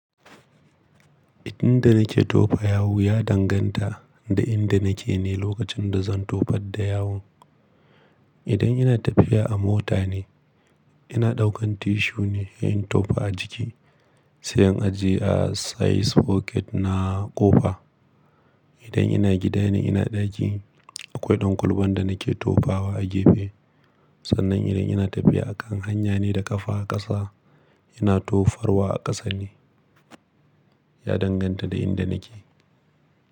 Inda nake tofa yawu ya danganta da inda nake ne lokacin da zan tofar da yawon. Idan ina tafiya a mota ne, ina ɗaukan tissue ne in tofa a jiki, sai in ajiye a size pocket na ƙofa. Idan ina gida ne ina ɗaki, akwai ɗan ƙulban da nake tofawa a gefe. Sannan idan ina tafiya a kan hanya ne da ƙafa a ƙasa, ina tofarwa a ƙasa ne. Ya danganta da inda nake.